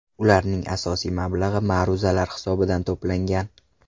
Ularning asosiy mablag‘i ma’ruzalar hisobidan to‘plangan.